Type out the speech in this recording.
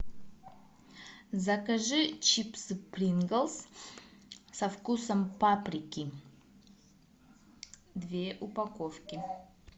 закажи чипсы принглс со вкусом паприки две упаковки